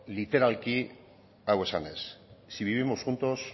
literalki hau esanez si vivimos juntos